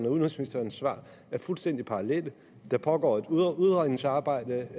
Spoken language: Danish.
og udenrigsministerens svar er fuldstændig parallelle der pågår et udredningsarbejde